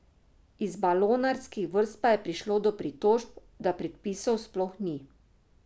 Iz balonarskih vrst pa je prišlo do pritožb, da predpisov sploh ni.